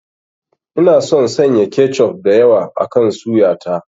Ina son sanya kechof da yawa akan suya ta.